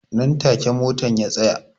Nan take motan ya tsaya